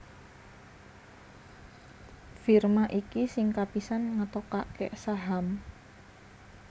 Firma iki sing kapisan ngetokaké saham